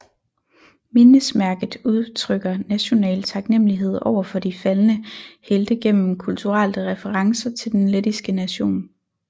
Mindesmærket udtrykker national taknemmelighed over for de faldne helte gennem kulturelle referencer til den lettiske nation